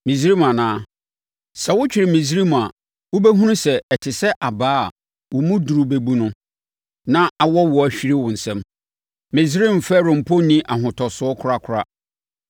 Misraim anaa? Sɛ wotwere Misraim a, wobɛhunu sɛ, ɛte sɛ abaa a wo mu duru bɛbu no, na awɔ wo ahwire wo nsam. Misraim Farao mpo mu nni ahotosoɔ korakora.